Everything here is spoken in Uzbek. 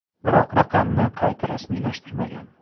Biroq raqamni qayta rasmiylashtirmagan.